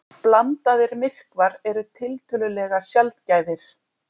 Blandaðir myrkvar eru tiltölulega sjaldgæfir.